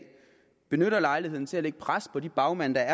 benytter lejligheden til at lægge pres på de bagmænd der